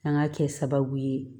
An ka kɛ sababu ye